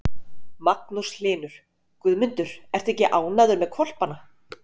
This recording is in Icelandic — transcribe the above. Magnús Hlynur: Guðmundur, ertu ekki ánægður með hvolpana?